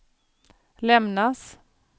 lämnas